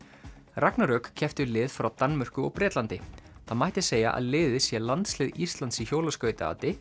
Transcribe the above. ragnarök keppti við lið frá Danmörku og Bretlandi það mætti segja að liðið sé landslið Íslands í